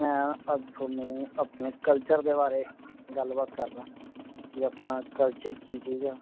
ਮੈਂ ਅੱਜ ਤੁਹਾਨੂੰ ਆਪਣੇ culture ਦੇ ਬਾਰੇ ਗਲ ਬਾਤ ਕਰਦਾ ਕੇ ਆਪਣਾ culture ਕੀ ਚੀਜ਼ ਆ